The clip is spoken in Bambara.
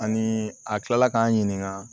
Ani a kilala k'an ɲininka